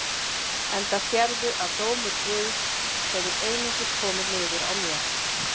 Enda sérðu að dómur Guðs hefur einungis komið niður á mér.